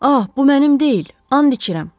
Ah, bu mənim deyil, and içirəm.